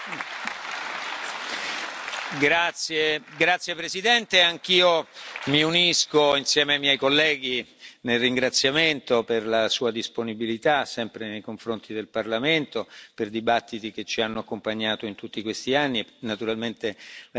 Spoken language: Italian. Grazie Presidente, anch'io mi unisco ai miei colleghi nel ringraziamento per la Sua disponibilità sempre nei confronti del Parlamento per dibattiti che ci hanno accompagnato in tutti questi anni, naturalmente La ringrazio per il Suo impegno. La discussione è chiusa.